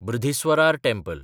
Brihadeeswarar temple (Thanjavur temple)